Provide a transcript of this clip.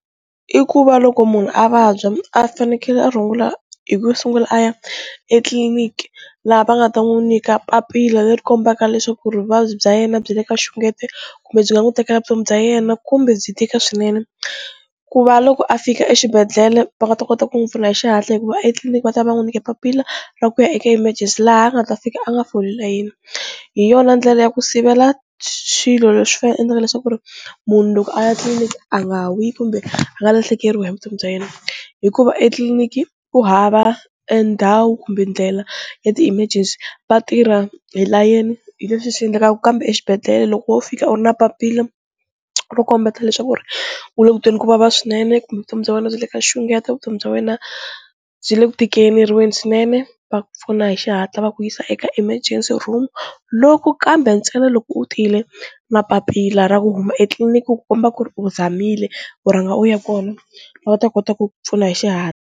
I ku va loko munhu a vabya a fanekele a rungula hi ku sungula a ya etliliniki laha va nga ta n'wi nyika papila leri kombaka leswaku vuvabyi bya yena byi le ka xungete kumbe byi nga n'wi tekela vutomi bya yena kumbe byi tika swinene ku va loko a fika exibedhlele va nga ta kota ku n'wi pfuna hi xihatla hikuva etliliniki va ta va n'wi nyike papila ra ku ya eka emergency laha a nga ta fika a nga foli layini, hi yona ndlela ya ku sivela swilo leswi endlaka leswaku ri munhu loko a ya tliliniki a nga wi kumbe a nga lahlekeriwa hi vutomi bya yena, hikuva etliliniki ku hava endhawu kumbe ndlela ya ti-mergency va tirha hi layeni, hi leswi endleka kambe exibedhlele loko wo fika u ri na papila ro kombeta leswaku ri u le ku tweni kuvava swinene kumbe vutomi bya wena byi le ka xungeto, vutomi bya wena byi le ku tikeleriweni swinene va pfuna hi xihatla va ku yisa eka emergency room, loko kambe ntsena loko u tile na papila ra ku huma etliliniki ku komba ku ri u zamile u rhanga u ya kona va ta kota ku ku pfuna hi xihatla.